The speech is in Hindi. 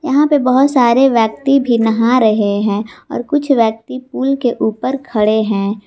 यहां पे बहोत सारे व्यक्ति भी नहा रहे हैं और कुछ व्यक्ति पुल के ऊपर खड़े हैं।